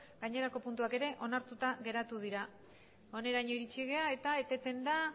gainerako puntuak ere onartuta geratu dira honaino iritsi gara eta eteten da